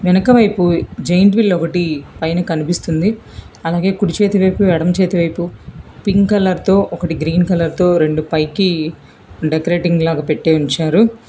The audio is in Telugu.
వెనకవైపు జెయింట్ వీల్ ఒకటి పైన కనిపిస్తుంది అలాగే కుడి చేతి వైపు ఎడమ చేతి వైపు పింక్ కలర్ తో ఒకటి గ్రీన్ కలర్ తో రెండు పైకి డెకరేటింగ్ లాగా పెట్టీ ఉంచారు.